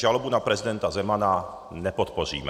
Žalobu na prezidenta Zemana nepodpoříme.